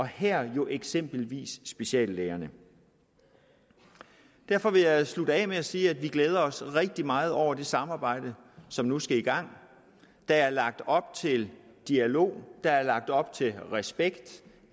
herunder jo eksempelvis speciallægerne derfor vil jeg slutte af med at sige at vi glæder os rigtig meget over det samarbejde som nu skal i gang der er lagt op til dialog der er lagt op til respekt